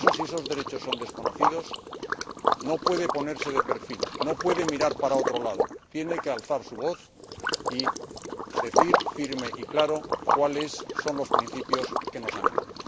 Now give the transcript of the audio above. Por eso, si esos derechos son desconocidos, no puede ponerse de perfil, no puede mirar para otro lado, tiene que alzar su voz y decir, firme y claro, cuáles son los principios que nos animan.